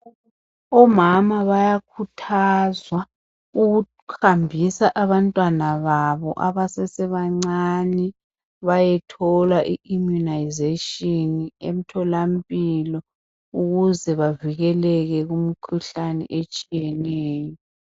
Omama bayakhuthazwa ukuhambisa abantwana babo abesesebancane bayethola I immunisation emtholampilo ukuze bavikeleke kumkhuhlane etshiyeneyo